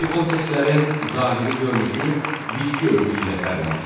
Təbii komplekslərin zahiri görünüşü bitki örtüyü ilə fərqlənir.